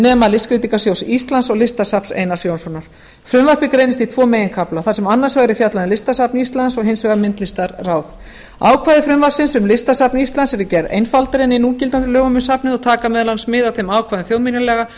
nema listskreytingasjóðs íslands og listasafns einars jónssonar frumvarpið greinist í tvo meginkafla þar sem annars vegar er fjallað um listasafn íslands og hins vegar myndlistarráð ákvæði frumvarpsins um listasafn íslands eru gerð einfaldari en í núgildandi lögum um safnið og taka meðal annars mið af þeim ákvæðum þjóðminjalaga